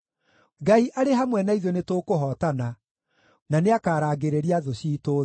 Ngai arĩ hamwe na ithuĩ nĩtũkũhootana, na nĩakarangĩrĩria thũ ciitũ thĩ.